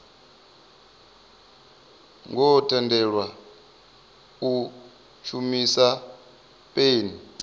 ngo tendelwa u shumisa peni